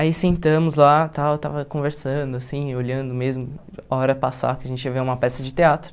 Aí sentamos lá, tal estava conversando assim, olhando mesmo, hora passar que a gente ia ver uma peça de teatro.